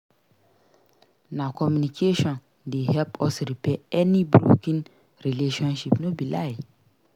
Na communication dey help us repair any broken relationship no be lie.